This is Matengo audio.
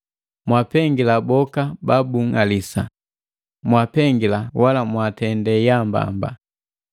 Mwaapengila boka babunng'alisa, mpengila wala mwaatende yaambamba.